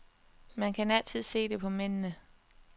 Man kan altid se det på mændene.